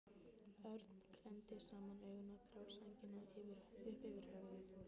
Örn klemmdi saman augun og dró sængina upp yfir höfuð.